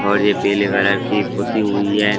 और यह पीले कलर की पोती हुई है।